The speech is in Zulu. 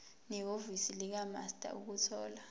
nehhovisi likamaster ukuthola